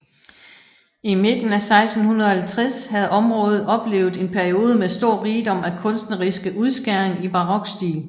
I midten af 1650 havde området oplevet en periode med stor rigdom af kunstneriske udskæring i barokstil